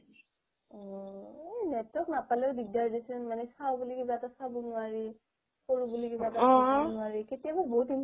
অহ network নাপালেও দিগদাৰ দেছোন চাও বুলি কিবা এটা চাব নোৱাৰি কৰো বোলো কিবা এটা কৰিব নোৱাৰি কেতিয়াবা বহুত